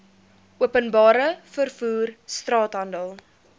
openbare vervoer straathandel